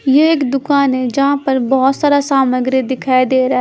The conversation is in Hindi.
ये एक दुकान है जहाँ पर बहुत सारा सामग्री दिखाई दे रहा--